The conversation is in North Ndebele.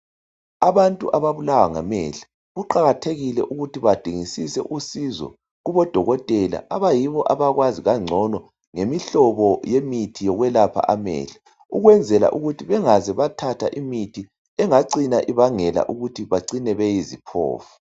Abantu ababulawa ngamehlo kuqakathekile ukuthi baingisisee usizo kubo dokotela abayibo abakwazi kangcono ngemihlobo yemithi yokwelapha amehlo. Ukwenzela ukuthi bengaze bathatha imithi engabangela ukuthi bacine beyiziphofu.